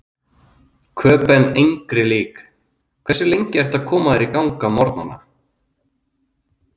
Köben engri lík Hversu lengi ertu að koma þér í gang á morgnanna?